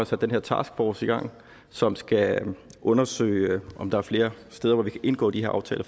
sat den her task force i gang som skal undersøge om der er flere steder hvor vi kan indgå de her aftaler